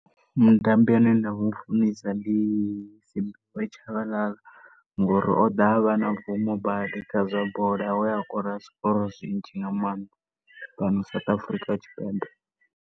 Mutambi ane nda mufunesa ndi Simphiwe Chabalala ngori o ḓa a vha na bvumo badi kha zwa bola we a kora zwikoro zwinzhi nga maanḓa fhano South Africa Tshipembe.